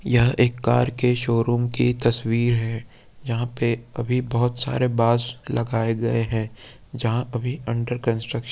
Car के showroom की तस्वीर है जहाँ पे अभी बहोत सारे बास लगाए गए है जहाँ अभी अंडर कंस्ट्रक्शन है।